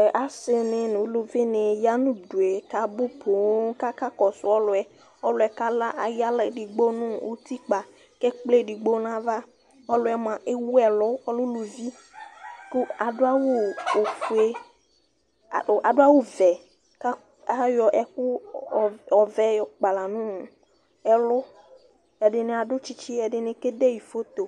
ɛ asini nu eluvi ni ya nu udue kabu poŋ kaka kɔsu ɔlʋɔ, ɔlʋɔ kala ayu ala edigbo nu utikpa ku ekple edigbo nu ava, ɔlʋɛ mʋa ewu ɛlu ɔlɛ uluvi ku adu awu ofue, o adu awu vɛ, ka ayɔ ɛku ɔvɛ yɔ kpala nu ɛlu , ɛdini adu tsitsi, ɛdini kede yi photo